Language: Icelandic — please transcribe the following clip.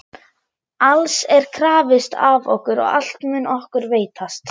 Alls er krafist af okkur og allt mun okkur veitast.